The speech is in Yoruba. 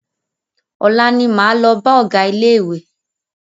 Ọ̀la ní máa lọ bá ọgá ilé ìwé.